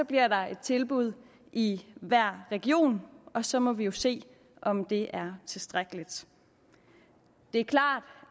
bliver der et tilbud i hver region og så må vi jo se om det er tilstrækkeligt det er klart